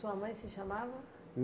Sua mãe se chamava?